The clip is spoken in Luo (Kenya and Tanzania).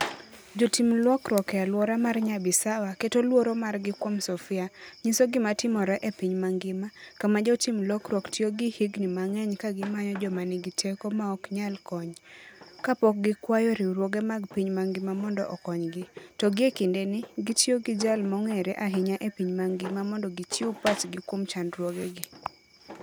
Jotim lokruok e alwora mar Nyabisawa keto luoro margi kuom Sofia, nyiso gima timore e piny mangima, kama jotim lokruok tiyo gi higini mang'eny ka gimanyo joma nigi teko maok nyal kony, kapok gikwayo riwruoge mag piny mangima mondo okonygi, to gie kindeni, gitiyo gi jal mong'ere ahinya e piny mangima mondo gichiw pachgi kuom chandruogegi.